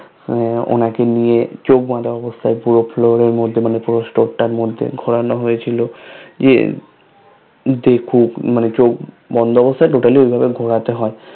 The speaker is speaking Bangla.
ওনাকে নিয়ে চোখ বাধা অবস্থায় পুরো Floor এর মধ্যে মানে পুরো Store টার মধ্যে ঘুরানো হয়েছিল ইয়ে দেখুক মানে চোখ বন্ধ অবস্থায় Totally ঐভাবে ঘুরাইতে হয়